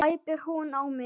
æpir hún á mig.